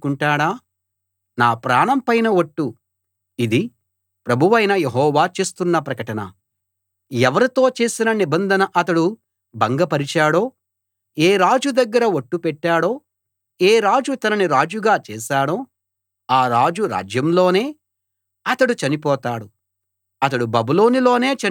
నా ప్రాణం పైన ఒట్టు ఇది ప్రభువైన యెహోవా చేస్తున్న ప్రకటన ఎవరితో చేసిన నిబంధనను అతడు భంగ పరిచాడో ఏ రాజు దగ్గర ఒట్టు పెట్టాడో ఏ రాజు తనని రాజుగా చేశాడో ఆ రాజు రాజ్యంలోనే అతడు చనిపోతాడు అతడు బబులోను లోనే చనిపోతాడు